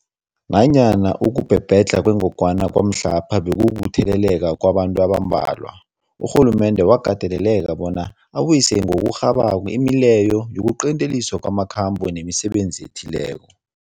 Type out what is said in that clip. Nanyana ukubhebhedlha kwengogwana kwamhlapha bekukutheleleka kwabantu abambalwa, urhulumende wakateleleka bona abuyise ngokurhabako imileyo yokuqinteliswa kwamakhambo nemisebenzi ethileko.